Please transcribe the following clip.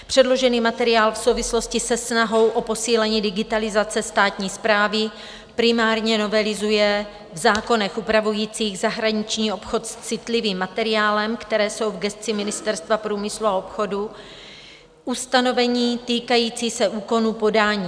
Předložený materiál v souvislosti se snahou o posílení digitalizace státní správy primárně novelizuje v zákonech upravujících zahraniční obchod s citlivým materiálem, které jsou v gesci Ministerstva průmyslu a obchodu, ustanovení týkající se úkonu podání.